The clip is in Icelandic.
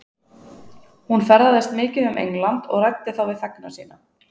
Hún ferðaðist mikið um England og ræddi þá við þegna sína.